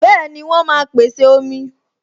Bẹẹni, wọn máa pèsè omi.